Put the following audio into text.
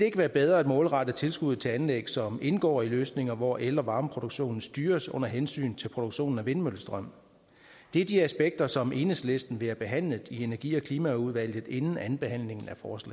ikke være bedre at målrette tilskuddet til anlæg som indgår i løsninger hvor el og varmeproduktionen styres under hensyn til produktionen af vindmøllestrøm det er de aspekter som enhedslisten vil have behandlet i energi forsynings og klimaudvalget inden andenbehandlingen